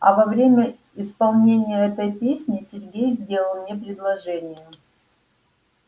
а во время исполнения этой песни сергей сделал мне предложение